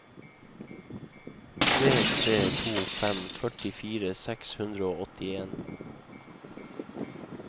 tre tre to fem førtifire seks hundre og åttien